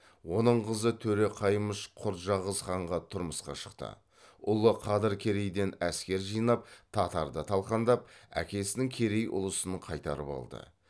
оның қызы төре қаймыш құрджақыз ханға тұрмысқа шықты ұлы қадыр керейден әскер жинап татарды талқандап әкесінің керей ұлысын қайтарып алды